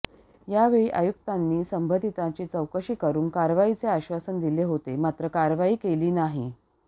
यावेळी आयुक्तांनी संबंधितांची चौकशी करून कारवाईचे आश्वासन दिले होते मात्र कारवाई केली नाही